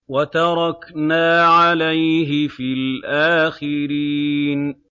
وَتَرَكْنَا عَلَيْهِ فِي الْآخِرِينَ